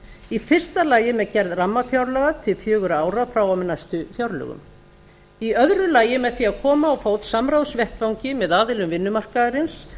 í fyrsta lagi með gerð rammafjárlaga til fjögurra ára frá og með næstu fjárlögum í öðru lagi með því að koma á fót samráðsvettvangi með aðilum vinnumarkaðarins